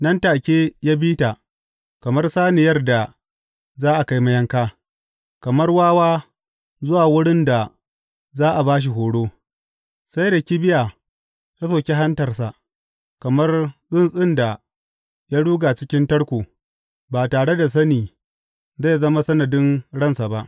Nan take, ya bi ta kamar saniyar da za a kai mayanka, kamar wawa zuwa wurin da za a ba shi horo sai da kibiya ta soki hantarsa, kamar tsuntsun da ya ruga cikin tarko, ba tare da sani zai zama sanadin ransa ba.